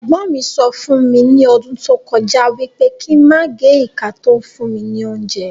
Ègbọ́n mí sọ fún mi ni ọdún tó kọjá wípé kín máa gé ìka to ń fún mi ní óúnjẹ